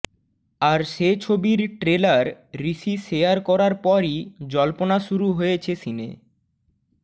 আর সে ছবির trailer Rishi share করার পরই জল্পনা শুরু হয়েছে সিনে